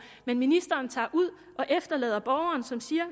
men ministeren tager ud og efterlader borgeren som siger